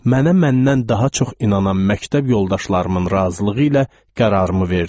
Mənə məndən daha çox inanan məktəb yoldaşlarımın razılığı ilə qərarımı verdim.